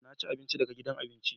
Na ci abinci daga gidan abinci